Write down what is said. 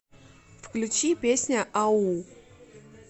включи песня ау